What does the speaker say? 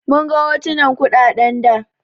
Mun ga hotunan kuɗaɗen da.